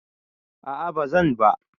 A'a bazan ba.